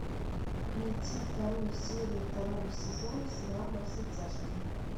найти вторую серию второго сезона сериала во все тяжкие